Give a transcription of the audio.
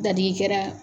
Dadigi kɛra